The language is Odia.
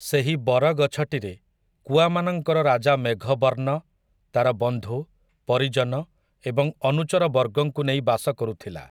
ସେହି ବରଗଛଟିରେ କୁଆମାନଙ୍କର ରାଜା ମେଘବର୍ଣ୍ଣ ତା'ର ବନ୍ଧୁ, ପରିଜନ ଏବଂ ଅନୁଚର ବର୍ଗଙ୍କୁ ନେଇ ବାସ କରୁଥିଲା ।